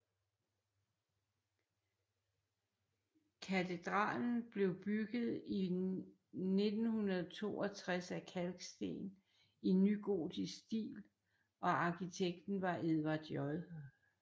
Katedralen blev bygget i 1962 af kalksten i nygotiks stil og arkitekten var Edward J